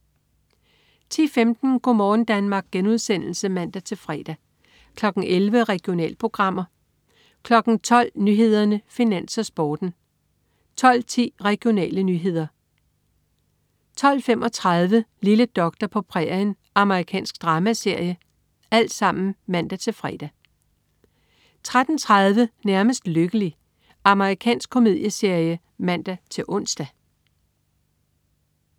10.15 Go' morgen Danmark* (man-fre) 11.00 Regionalprogrammer (man-fre) 12.00 Nyhederne, Finans, Sporten (man-fre) 12.10 Regionale nyheder (man-fre) 12.35 Lille doktor på prærien. Amerikansk dramaserie (man-fre) 13.30 Nærmest lykkelig. Amerikansk komedieserie (man-ons)